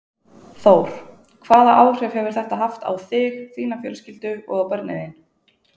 Þór: Hvaða áhrif hefur þetta haft á þig, þína fjölskyldu og á börnin þín?